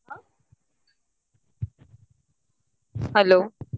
ಆ hello .